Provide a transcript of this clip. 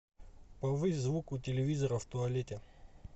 повысь звук у телевизора в туалете